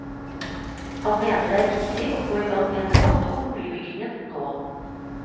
Han mener det er viktig å få i gang en debatt om boligbyggingen nå.